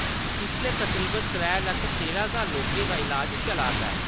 इसलै तकरीबन त्रै लक्ख तेरां ज्हार लोकें दा इलाज चला 'रदा ऐ।